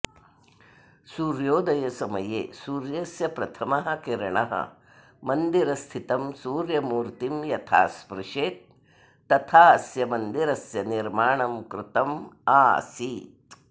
सूर्योदयसमये सूर्यस्य प्रथमः किरणः मन्दिरस्थितं सूर्यमूर्तिं यथा स्पृशेत् तथा अस्य मन्दिरस्य निर्माणं कृतम् आसीत्